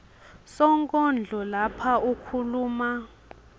sonkondlo lapha ukhuluma